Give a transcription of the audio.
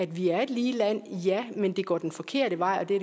vi er et lige land ja men det går den forkerte vej og det